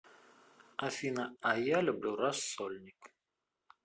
афина а я люблю рассольник